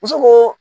Muso ko